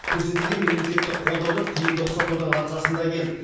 көрсетілген мемлекеттік қолдауды тиімді ұқсатудың арқасында келді